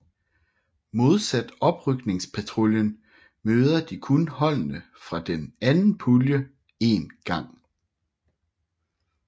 Modsat oprykningspuljen møder de kun holdene fra den anden pulje 1 gang